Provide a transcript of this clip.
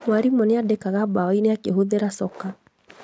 Mwarimũ andĩkaga mbao-inĩ akĩhũthĩra coka